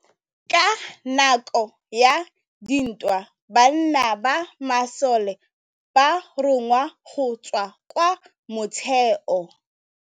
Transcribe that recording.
Ka nakô ya dintwa banna ba masole ba rongwa go tswa kwa mothêô.